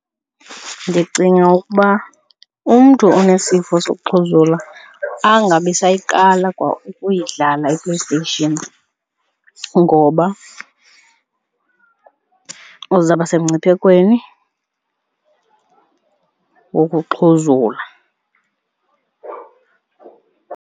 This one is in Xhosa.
Ndicinga ukuba umntu onesifo sokuxhuzula angabisayiqala kwa ukuyidlala iPlayStation ngoba uzaba semngciphekweni wokuxhuzula.